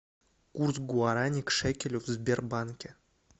курс гуарани к шекелю в сбербанке